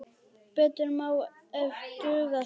Betur má ef duga skal.